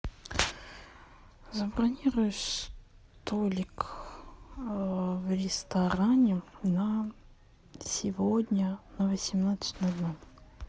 забронируй столик в ресторане на сегодня на восемнадцать ноль ноль